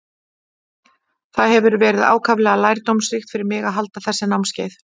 Það hefur verið ákaflega lærdómsríkt fyrir mig að halda þessi námskeið.